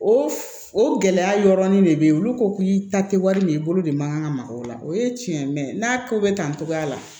O o gɛlɛya yɔrɔnin de bɛ yen olu ko k'i ta tɛ wari min ye i bolo de man kan ka maka o la o ye tiɲɛ ye n'a ko bɛ kan cogoya la